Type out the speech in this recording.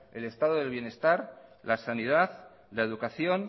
el estado del bienestar la sanidad la educación